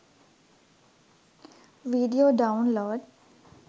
video download